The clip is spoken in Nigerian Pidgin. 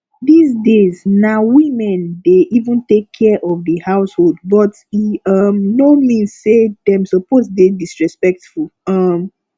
dis days na women dey even take care of the household but e um no mean say dem suppose dey disrespectful um